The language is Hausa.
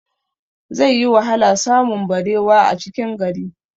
Zai yi wahala samun barewa a cikin gari